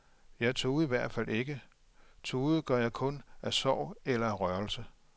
Jeg tudede i hvert fald ikke, tude gør jeg kun af sorg eller af rørelse.